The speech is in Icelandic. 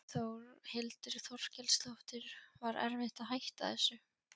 Þórhildur Þorkelsdóttir: Var erfitt að hætta þessu?